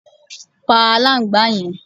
Pá aláǹgbá yẹn